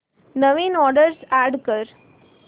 नवीन address add कर